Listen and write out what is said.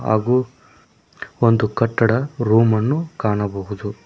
ಹಾಗೂ ಒಂದು ಕಟ್ಟಡ ರೂಮನ್ನು ಕಾಣಬಹುದು.